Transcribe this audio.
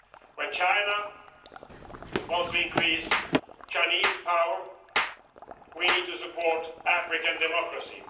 When China wants to increase Chinese power, we need to support African democracy.